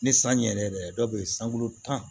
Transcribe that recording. Ni san ɲe yɛrɛ yɛrɛ dɔw bɛ ye sankolo tan